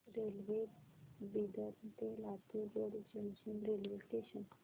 railway Bidar ते Latur road junction railway station